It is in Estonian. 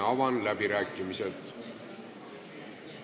Avan läbirääkimised.